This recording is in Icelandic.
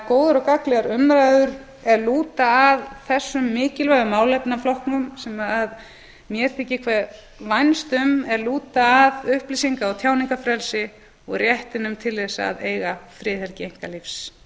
góðar og gagnlegar umræður er lúta að þessum mikilvægu málefnaflokkum sem mér þykir hve vænst um er lúta að upplýsinga og tjáningarfrelsi og réttinum til þess að eiga friðhelgi einkalífs